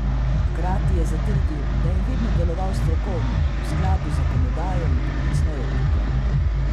Hkrati je zatrdil, da je vedno deloval strokovno, v skladu z zakonodajo in poklicno etiko.